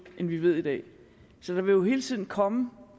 end vi ved i dag så der vil jo hele tiden komme